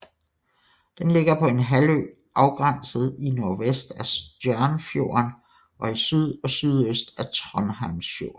Den ligger på en halvø afgrænset i nordvest af Stjørnfjorden og i syd og sydøst af Trondheimsfjorden